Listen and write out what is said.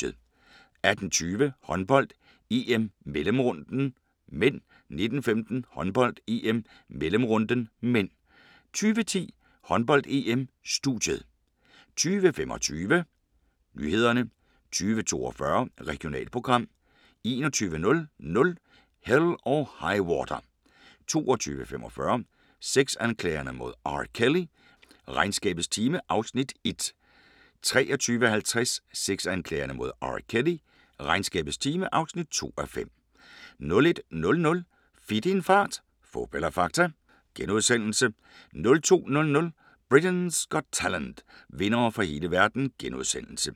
18:20: Håndbold: EM - mellemrunden (m) 19:15: Håndbold: EM - mellemrunden (m) 20:10: Håndbold: EM - studiet 20:25: Nyhederne 20:42: Regionalprogram 21:00: Hell or High Water 22:45: Sexanklagerne mod R. Kelly: Regnskabets time (Afs. 1) 23:50: Sexanklagerne mod R. Kelly: Regnskabets time (2:5) 01:00: Fit i en fart - fup eller fakta? * 02:00: Britain’s Got Talent - vindere fra hele verden *